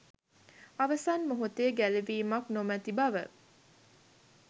අවසන් මොහොතේ ගැලවීමක් නොමති බව